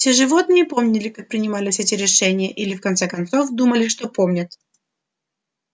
все животные помнили как принимались эти решения или в конце концов думали что помнят